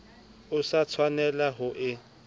o sa tshwanelang ho e